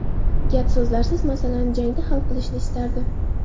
Gap-so‘zlarsiz masalani jangda hal qilishni istardim.